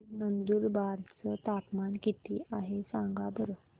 आज नंदुरबार चं तापमान किती आहे सांगा बरं